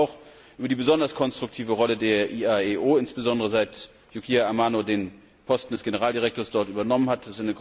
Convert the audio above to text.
Ich freue mich auch über die besonders konstruktive Rolle der IAEO, insbesondere, seit Yukiya Amano den Posten des Generaldirektors dort übernommen hat.